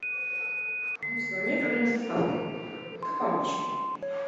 у меня проблемы с доставкой как помочь